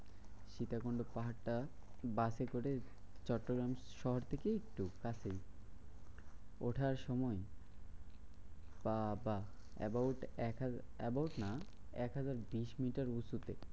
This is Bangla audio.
সীতাকুন্ড পাহাড়টা বাসে করে চট্টগ্রাম শহর থেকে এই একটু কাছেই। ওঠার সময় বাবা about একহাজার about না একহাজার বিশ মিটার উঁচুতে।